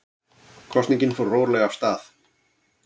Kosningin fór rólega af stað